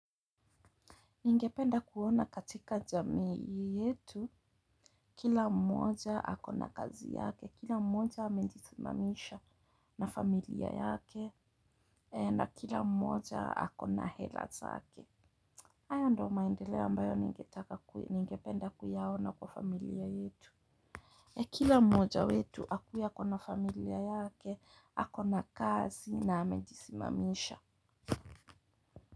Ningependa kuona katika jamii yetu kila mmoja ako na kazi yake. Kila mmoja amejisimamisha na familia yake na kila mmoja ako na hela zake haya ndiyo maendeleo ambayo ningependa kuyaona kwa familia yetu kila mmoja wetu akue ako na familia yake, ako na kazi na amejisimamisha.